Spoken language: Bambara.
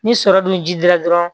Ni sɔrɔ dun ji dira dɔrɔn